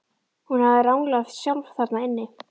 Hún hafði ranglað sjálf þarna inn.